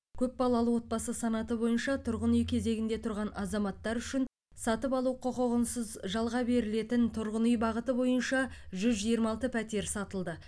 көп балалы отбасы санаты бойынша тұрғын үй кезегінде тұрған азаматтар үшін сатып алу құқығынсыз жалға берілетін тұрғын үй бағыты бойынша жүз жиырма алты пәтер сатылды